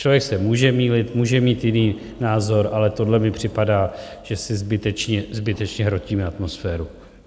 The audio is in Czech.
Člověk se může mýlit, může mít jiný názor, ale tohle mi připadá, že si zbytečně hrotíme atmosféru.